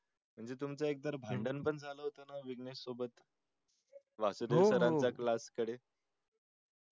म्हणजे तुमचं एकतर भांडण पण झालं होत त्या विषणेश सोबत वासुदेव sir च्या class कडे